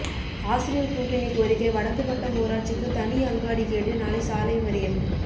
ஆசிரியர் கூட்டணி கோரிக்கை வடக்குபட்டம் ஊராட்சிக்கு தனி அங்காடி கேட்டு நாளை சாலை மறியல்